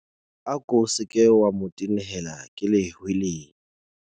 Ako se ke wa mo tenehela ke lehweleya.